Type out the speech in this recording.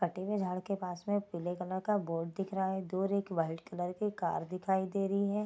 कटे हुए झाड़ के पास में पीले कलर का बोर्ड दिख रहा है दूर एक वाइट कलर की कार दिखाई दे रही है।